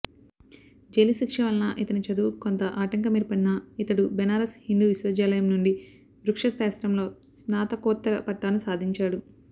జైలుశిక్ష వలన ఇతని చదువుకు కొంత ఆటంకమేర్పడినా ఇతడు బెనారస్ హిందూ విశ్వవిద్యాలయం నుండి వృక్షశాస్త్రంలో స్నాతకోత్తర పట్టాను సాధించాడు